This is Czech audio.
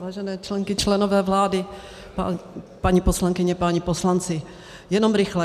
Vážené členky, členové vlády, paní poslankyně, páni poslanci, jenom rychle.